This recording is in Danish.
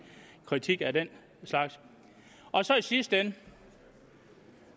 kritik af det i sidste ende